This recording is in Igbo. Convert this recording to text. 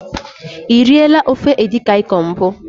E riela ofe edikaikong mbụ?